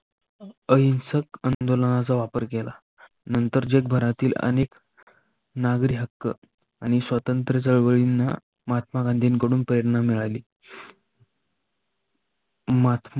अहिंसक आंदोलनाचा वापर केला. नंतर जगभरातील नागरी हक्क आणि स्वतंत्र चळवळींना महात्मा गांधीना प्रेरणा मिळाली. महात्मा